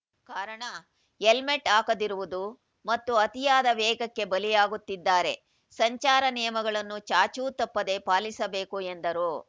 ಕಾರಣ ಹೆಲ್ಮೆಟ್‌ ಹಾಕದಿರುವುದು ಮತ್ತು ಅತಿಯಾದ ವೇಗಕ್ಕೆ ಬಲಿಯಾಗುತ್ತಿದ್ದಾರೆ ಸಂಚಾರ ನಿಯಮಗಳನ್ನು ಚಾಚೂ ತಪ್ಪದೇ ಪಾಲಿಸಬೇಕು ಎಂದರು